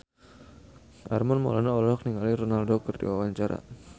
Armand Maulana olohok ningali Ronaldo keur diwawancara